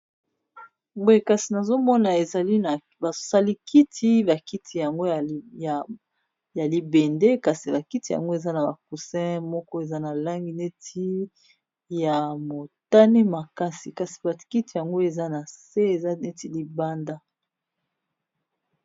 Boye kasi nazomona ezali na basalikiti bakiti yango ya libende kasi bakiti yango eza na bacousin moko eza na langi neti ya motane makasi kasi bakiti yango eza na se eza neti libanda